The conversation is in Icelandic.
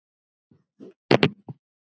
Ég hlaut að finna hana.